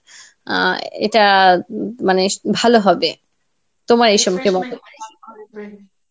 আহ এটা উ মানে ভালো হবে তোমার এই সম্পর্কে